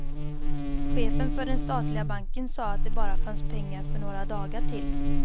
Chefen för den statliga banken sa att det bara fanns pengar för några dagar till.